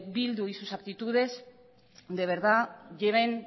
bildu y sus actitudes de verdad lleven